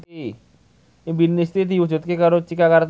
impine Siti diwujudke karo Cika Kartika